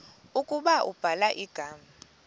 ukuba ubhala igama